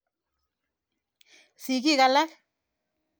Sigik alak.